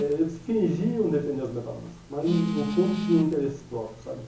É, eles fingiam defender os metalúrgicos, mas no no fundo tinham interesses próprios, sabe?